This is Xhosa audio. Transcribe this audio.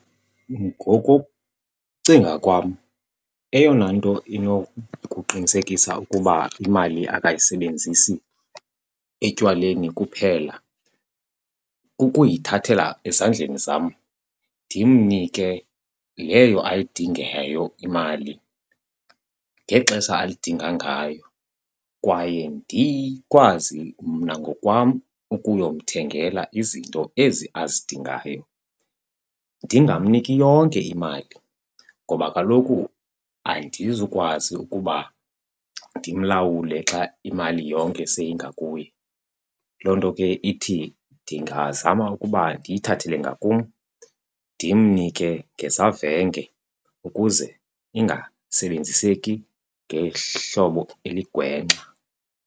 Ngokokucinga kwam, eyona nto inokuqinisekisa ukuba imali akayisebenzisi etywaleni kuphela kukuyithathela ezandleni zam ndimnike leyo ayidingayo imali ngexesha ayidingayo ngayo. Kwaye ndikwazi mna ngokwam ukuyomthengela izinto ezi azidingayo. Ndingamniki yonke imali ngoba kaloku andizukwazi ukuba ndimlawule xa imali yonke seyingakuye. Loo nto ke ithi ndingazama ukuba ndiyithathele ngakum, ndimnike ngezavenge ukuze ingasebenziseki ngehlobo eligwenxa.